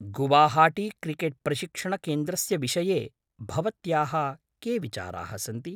गुवाहाटीक्रिकेट्प्रशिक्षणकेन्द्रस्य विषये भवत्याः के विचाराः सन्ति?